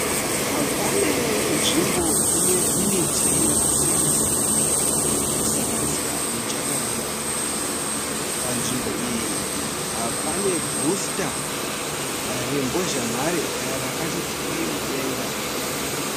Pane nzvimbo inemiti yakasiyana-siyana, kusanganisira mijakaranda. Panzvimbo iyi pane bhusita rembozhanhare rakati twii mudenga.